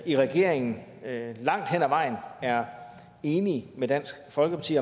i regeringen langt hen ad vejen er enige med dansk folkeparti